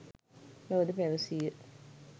බවද පැවසීය.